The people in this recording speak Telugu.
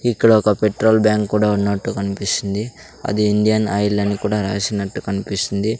ఇక్కడ ఒక పెట్రోల్ బ్యాంకు కూడా ఉన్నట్టు కనిపిస్తుంది అది ఇండియన్ ఆయిల్ అని కూడా రాసినట్టు కనిపిస్తుంది.